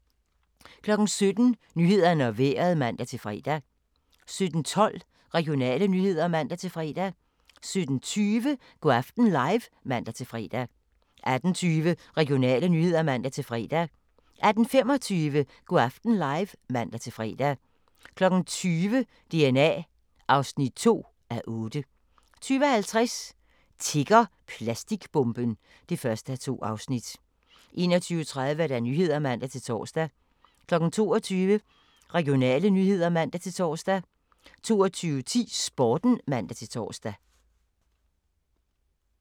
17:00: Nyhederne og Vejret (man-fre) 17:12: Regionale nyheder (man-fre) 17:20: Go' aften live (man-fre) 18:20: Regionale nyheder (man-fre) 18:25: Go' aften live (man-fre) 20:00: DNA (2:8) 20:50: Tikker plastikbomben? (1:2) 21:30: Nyhederne (man-tor) 22:00: Regionale nyheder (man-tor) 22:10: Sporten (man-tor)